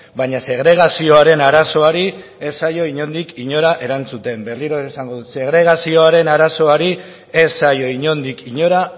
baina segregazioaren arazoari ez zaio inondik inora erantzuten berriro ere esango dut segregazioaren arazoari ez zaio inondik inora